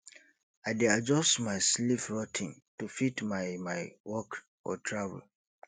i dey adjust my sleep routine to fit my my work or travel